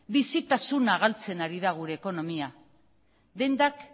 bizitasuna galtzen ari da gure ekonomia dendak